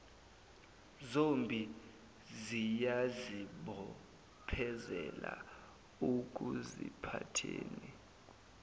zombi ziyazibophezela ekuziphatheni